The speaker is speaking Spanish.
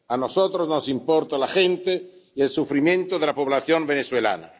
A nosotros nos importa la gente y el sufrimiento de la población venezolana.